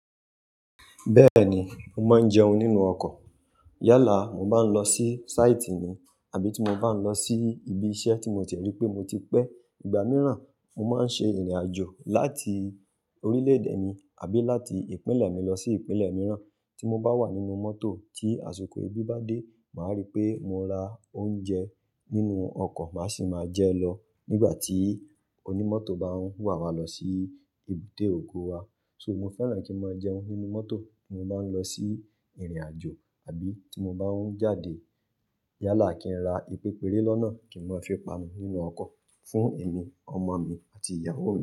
Bẹ́ẹ̀ni, mo máa ń jẹun nínú ọkọ̀. Yálà, mo bá ń lọ sí sáìtì ni àbí tí mo bá ń lọ sí ibi iṣẹ́ tí mo dé rí pé mo ti pẹ́ ìgbà mìíràn, mo máa ń ṣe ìrìnàjò láti orílẹ̀ èdè mi àbí láti ìpínlẹ̀ mi lọ sí ìpínlẹ̀ mìíràn. Tí mo bá wà nínú mọ́tò tí àsìkò ebi bá dé, màá rí pé mo ra oúnjẹ nínú ọkọ̀, màá sì máa jẹ lọ nígbà tí onímọ́tò bá ń wà wá lọ sí èbúté ògo wa. So, mo fẹ́ràn kí máa n jẹun nínú mọ́tò tí mo bá ń lọ sí ìrìnàjò àbí tí mo bá ń jáde. Yálà kín ra ìpepere nọ́na kí n máa fín panu nínú ọkọ̀ fún èmi, ọmọ mi àti ìyàwó mi.